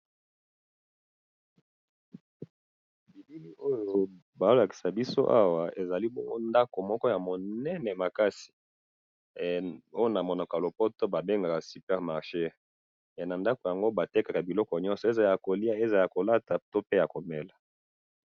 elili oyo bazolkisa biso awa ezali ndaku moko ya munene makasi na ba bengaka yango super marcher ba tekaka biloko ebele ezala ya koliya pe ezala ya komela